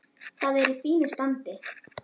Það er í fínu standi.